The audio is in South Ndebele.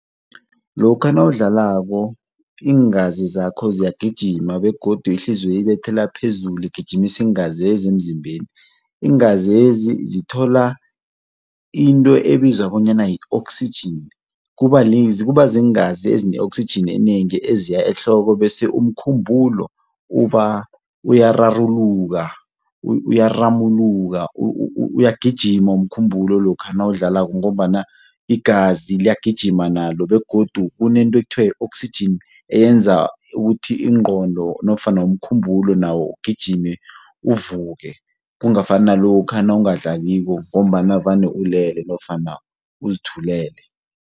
Lokha nawudlako iingazi zakho ziyagijima begodu ihliziyo ibethela phezulu igijimisa iingazezi emzimbeni. Iingazezi zithola into ebizwa bonyana yi-oxygen kuba ziingazi ezine-oxygen enengi eziya ehloko bese umkhumbulo uyararululuka, uyaramuluka, uyagijima umkhumbulo lokha nawudlako ngombana igazi liyagijima nalo begodu kunento ekuthiwa yi-oxygen eyenza ukuthi ingqondo nofana umkhumbulo nawo ugijime uvuke, kungafani nalokha nawungadlaliko ngombana vane ulele nofana uzithulele.